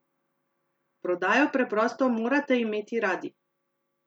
Prodajo preprosto morate imeti radi!